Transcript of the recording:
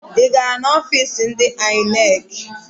Ị gara n'ọfiisi ndị INEC?